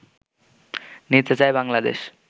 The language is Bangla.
নিতে চায় বাংলাদেশ